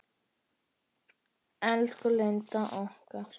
Elsku Linda okkar.